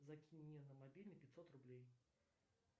закинь мне на мобильный пятьсот рублей